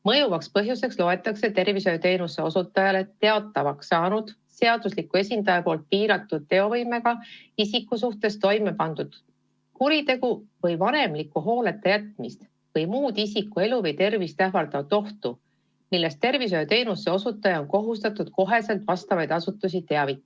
Mõjuvaks põhjuseks loetakse tervishoiuteenuse osutajale teatavaks saanud kuritegu, mille seaduslik esindaja on piiratud teovõimega isiku suhtes toime pannud, või vanemliku hooleta jätmine või isiku elu või tervist ähvardav muu oht, millest tervishoiuteenuse osutaja on kohustatud kohe vastavaid asutusi teavitama.